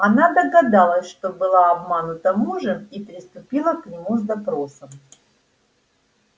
она догадалась что была обманута мужем и приступила к нему с допросом